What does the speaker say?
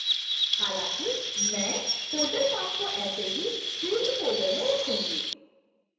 हालांकि मैं folder path को ऐसे ही field folder में रखूंगी